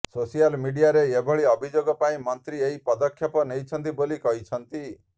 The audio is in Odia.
ସୋସିଆଲ ମିଡିଆରେ ଏଭଳି ଅଭିଯୋଗ ପାଇଁ ମନ୍ତ୍ରୀ ଏହି ପଦକ୍ଷେପ ନେଇଛନ୍ତି ବୋଲି କହିଛନ୍ତି